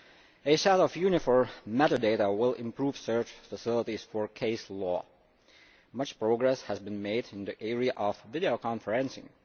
A set of uniform metadata will improve search facilities for case law. Much progress has been made in the area of videoconferencing.